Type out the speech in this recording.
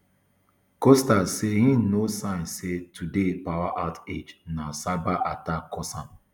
costa say im no sign say today power outage na cyber attack cause am